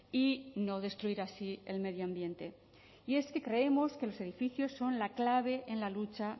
y no destruir así el medio ambiente y es que creemos que los edificios son la clave en la lucha